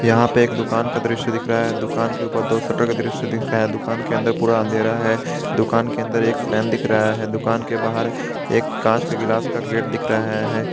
यहां पे एक दुकान का दृश्य दिख रहा है दुकान के ऊपर दो शटर का दृश्य दिख रहा दुकान के अंदर पूरा अंधेरा है दुकान के अंदर एक फैन दिख रहा है दुकान के बाहर एक कांच के ग्लास का गेट दिख रहा है।